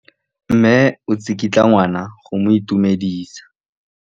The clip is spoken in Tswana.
Mme o tsikitla ngwana go mo itumedisa.